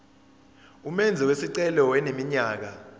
umenzi wesicelo eneminyaka